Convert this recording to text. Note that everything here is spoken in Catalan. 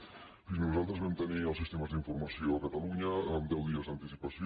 fixi s’hi nosaltres vam tenir els sistemes d’informació a catalunya amb deu dies d’anticipació